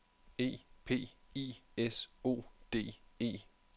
E P I S O D E